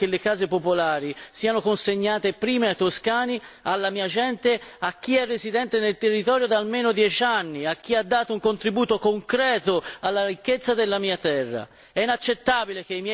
Io sono toscano e voglio che le case popolari siano consegnate prima ai toscani, alla mia gente, a chi è residente nel territorio da almeno dieci anni, a chi ha dato un contributo concreto alla ricchezza della mia terra.